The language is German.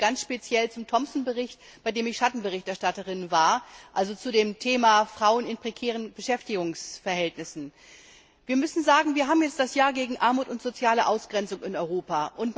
Ich spreche ganz speziell zum Bericht Thomsen, bei dem ich Schattenberichterstatterin war, also zu dem Thema Frauen in prekären Beschäftigungsverhältnissen. Wir haben jetzt das Jahr gegen Armut und soziale Ausgrenzung in Europa.